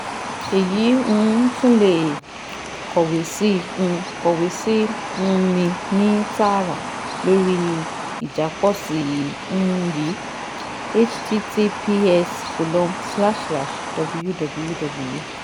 Ẹ̀yin um tún lè kọ̀wé sí um kọ̀wé sí um mi ní tààràtà lórí ìjápọ̀sí̀ um yìí https colon slash slash www